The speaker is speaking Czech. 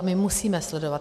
A my musíme sledovat.